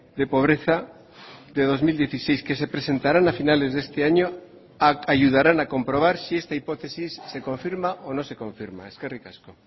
de pobreza de dos mil dieciséis que se presentarán a finales de este año ayudarán a comprobar si esta hipótesis se confirma o no se confirma eskerrik asko